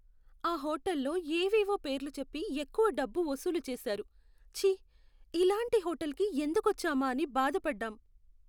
ఆ హోటల్లో ఏవేవో పేర్లు చెప్పి ఎక్కువ డబ్బు వసూలు చేసారు. ఛీ! ఇలాంటి హోటల్కి ఎందుకొచ్చామా అని బాధపడ్డాం.